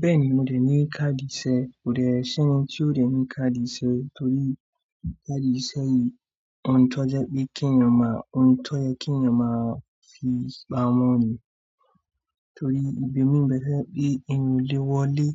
Bẹ́ẹ̀ni, mo dẹ̀ ní káàdì iṣẹ́, kò dẹ̀ sí ẹni tí o lè ní káàdì iṣẹ́ torí káàdì iṣẹ́ yìí ohun tó jẹ́ pé kí ẹ̀yàn máa, ohun tó yẹ́ kí ẹ̀yàn máa fi pamọ́ ni torí ìbèmi ń bẹ tó ṣẹ pé èèyàn o lè wọlé